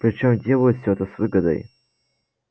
причём делают все это с выгодой